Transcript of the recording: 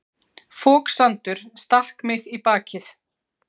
Foksandur stakk mig í bakið.